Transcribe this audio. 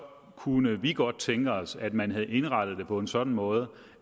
kunne vi godt have tænkt os at man havde indrettet det på en sådan måde